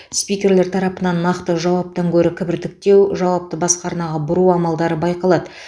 спикерлер тарапынан нақты жауаптан гөрі кібіртіктеу жауапты басқа арнаға бұру амалдары байқалады